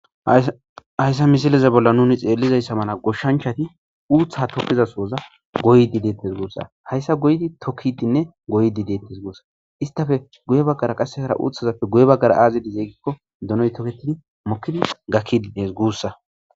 Hayssa misileze bolla nuni xeellizayssa mala goshshanchati uuththa tokiza soza goydi deettes guussa hayssa goydi tokkidinne goydi deettes gussa istafe guye baggara qassekara uuthazappe guye baggara aazidi zeegikko donoy toketidi mokkidi gakkiides guussa.